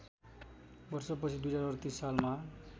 वर्षपछि २०३८ सालमा